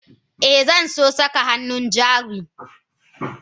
Eh Zanso saka hannun jari.